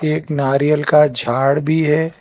एक नारियल का झाड़ भी है।